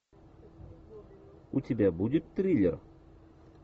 у тебя будет триллер